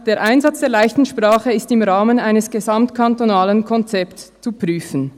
«[der] Einsatz [der «leichten Sprache» ist] im Rahmen eines gesamtkantonalen Konzepts zu prüfen